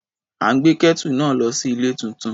À ń gbé Kẹ́tù náà lọ sí ilé tuntun.